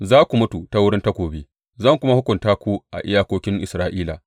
Za ku mutu ta wurin takobi, zan kuma hukunta ku a iyakokin Isra’ila.